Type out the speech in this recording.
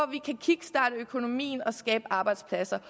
vi kan kickstarte økonomien og skabe arbejdspladser